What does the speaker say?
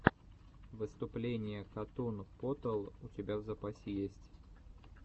выступление катун потал у тебя в запасе есть